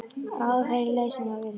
Ráða þeirri leið sem það velur sér.